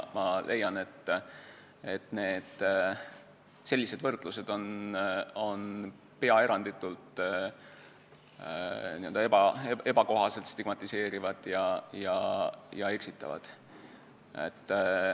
Ma leian, et sellised võrdlused on peaaegu eranditult ebakohaselt stigmatiseerivad ja eksitavad.